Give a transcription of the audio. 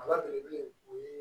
Ba belebele o ye